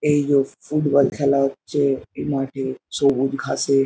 এই জো ফুটবল খেলা হচ্ছে এই মাঠে সবুজ ঘাসে।